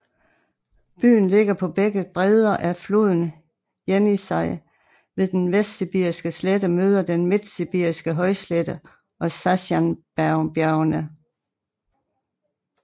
Byen ligger på begge bredder af floden Jenisej ved den Vestsibiriske slette møder den Midtsibiriske højslette og Sajanbjergene